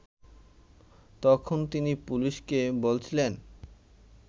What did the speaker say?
তখন তিনি পুলিশকে বলছিলেন